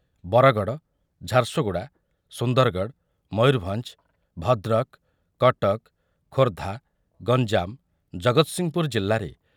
ବରଗଡ଼, ଝାରସୁଗୁଡ଼ା, ସୁନ୍ଦରଗଡ଼, ମୟୂରଭଞ୍ଜ, ଭଦ୍ରକ, କଟକ, ଖୋର୍ଦ୍ଧା, ଗଞ୍ଜାମ, ଜଗତସିଂହପୁର ଜିଲ୍ଲାରେ